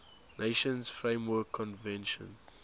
nations framework convention